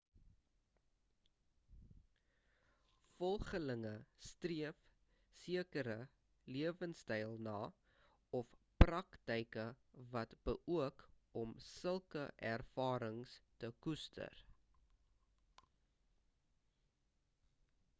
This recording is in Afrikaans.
volgelinge streef sekere lewenstyle na of praktyke wat beoog om sulke ervarings te koester